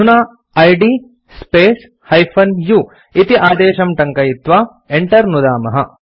अधुना id space -u इति आदेशं टङ्कयित्वा enter नुदामः